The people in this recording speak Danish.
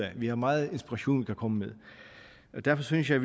af vi har meget inspiration vi kan komme med derfor synes jeg